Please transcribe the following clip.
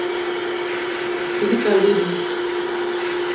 ge di tla be di